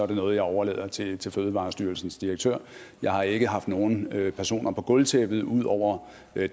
det noget jeg overlader til til fødevarestyrelsens direktør jeg har ikke haft nogen personer på gulvtæppet ud over